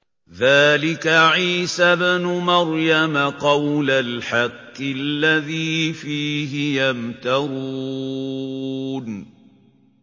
ذَٰلِكَ عِيسَى ابْنُ مَرْيَمَ ۚ قَوْلَ الْحَقِّ الَّذِي فِيهِ يَمْتَرُونَ